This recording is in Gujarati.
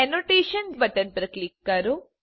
એનોટેશન બટન પર ક્લિક કરો